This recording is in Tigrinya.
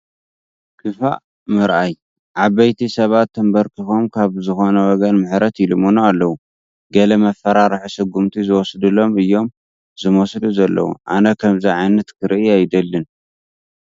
ክፉእ ምርኣይ፡፡ ዓበይቲ ሰባት ተንበርኪኾም ካብ ዝኾነ ወገን ምሕረት ይልምኑ ኣለዉ፡፡ ገለ መፍርሒ ስጉምቲ ዝውሰደሎም እዮም ዝመስሉ ዘለዎ፡፡ ኣነ ከምዚ ዓይነት ክርኢ ኣይደልን፡፡